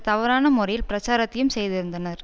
தவறான முறையில் பிரச்சாரத்தையும் செய்திருந்தனர்